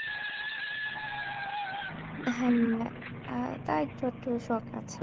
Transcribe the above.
হ্যাঁ আহ তা একটু আধটু শখ আছে